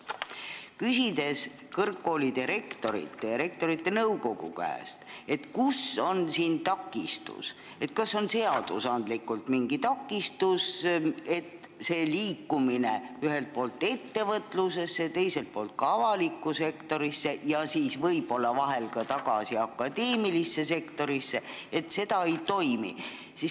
Olen küsinud kõrgkoolide rektorite ja Rektorite Nõukogu käest, kus on siin takistus, kas on mingi seadusandlik takistus, et see liikumine ühelt poolt ettevõtlusesse, teiselt poolt ka avalikku sektorisse ja siis võib-olla tagasi akadeemilisse sektorisse ei toimi.